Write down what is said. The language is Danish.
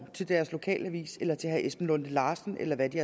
til deres lokalavis eller til herre esben lunde larsen eller hvem de